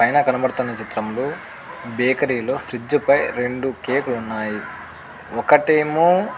పైన కనిపించిన చిత్రంలో బేకరి లో ఫ్రిడ్జ్ ఫై రెండు కేక్ లు ఉన్నాయి ఒకటేమో --